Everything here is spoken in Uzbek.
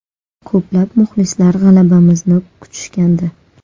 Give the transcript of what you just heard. Ko‘plab muxlislar g‘alabamizni kutishgandi.